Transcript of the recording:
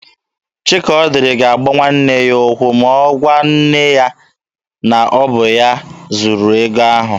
Chikaọdịrị ga-agba nwanne ya ụkwụ ma ọ gwa nne ha na ọ bụ ya zuru ego ahụ.